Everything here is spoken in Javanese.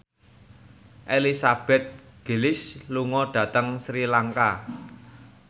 Elizabeth Gillies lunga dhateng Sri Lanka